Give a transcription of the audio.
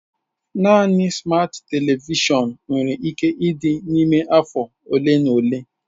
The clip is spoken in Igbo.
Naanị smat televishọn nwere ike ịdị n'ime afọ ole na ole.